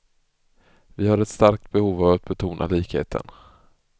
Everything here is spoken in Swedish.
Vi har ett starkt behov att betona likheten.